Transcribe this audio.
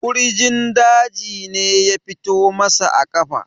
kurjin daji ne ya fito masa a kafa